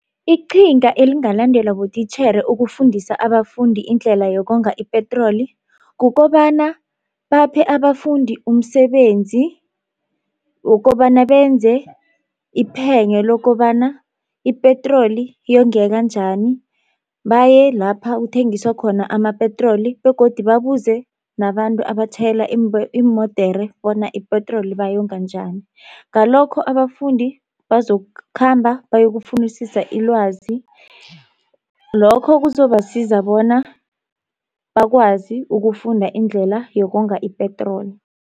Iqhinga elingalandelwa botitjhere ukufundisa abafundi indlela yokonga ipetroli kukobana baphe abafundi umsebenzi wokobana benze iphenyo lokobana ipetroli yongeka njani. Baye lapha kuthengiswa khona amapetroli begodu babuze nabantu abatjhayela iimodere bona ipetroli bayonga njani ngalokho abafundi bazokukhamba bayokufunisisa ilwazi, lokho kuzobasiza bona bakwazi ukufunda indlela yokonga ipetroli.